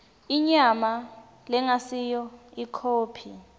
inyama lengasiyo ikhophi